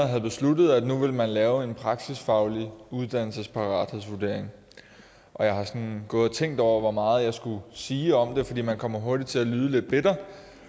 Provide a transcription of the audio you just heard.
havde besluttet at nu ville man lave en praksisfaglig uddannelsesparathedsvurdering og jeg har sådan gået og tænkt over hvor meget jeg skulle sige om det fordi man kommer hurtigt til at lyde lidt bitter